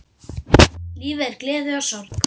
Lífið er gleði og sorg.